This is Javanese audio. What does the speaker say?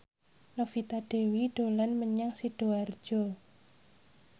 Novita Dewi dolan menyang Sidoarjo